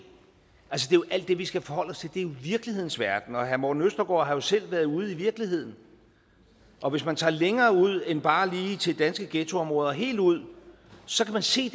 det er vi skal forholde os til det er jo virkelighedens verden herre morten østergaard har jo selv været ude i virkeligheden og hvis man tager længere ud end bare lige til danske ghettoområder helt ud så kan man se